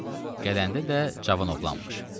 Gələndə də cavan oğlanmış.